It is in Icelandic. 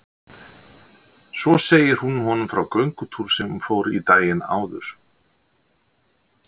Svo segir hún honum frá göngutúr sem hún fór í daginn áður.